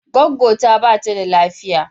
Gwaggwo ta bata da lafiya